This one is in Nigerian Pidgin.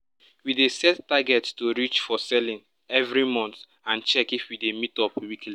we dey set targets to reach for selling every month and check if we dey meet up weekly